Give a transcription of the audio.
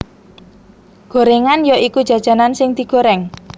Gorengan ya iku jajanan sing digoreng